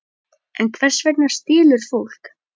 En hvers vegna stelur fólk?